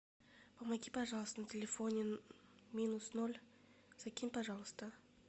помоги пожалуйста на телефоне минус ноль закинь пожалуйста